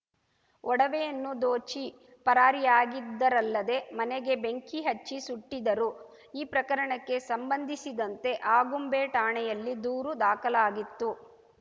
ಒಡವೆಯನ್ನು ದೋಚಿ ಪರಾರಿಯಾಗಿದ್ದರಲ್ಲದೆ ಮನೆಗೆ ಬೆಂಕಿ ಹಚ್ಚಿ ಸುಟ್ಟಿದ್ದರು ಈ ಪ್ರಕರಣಕ್ಕೆ ಸಂಬಂಧಿಸಿದಂತೆ ಆಗುಂಬೆ ಠಾಣೆಯಲ್ಲಿ ದೂರು ದಾಖಲಾಗಿತ್ತು